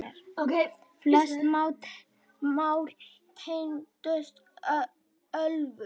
Flest mál tengdust ölvun.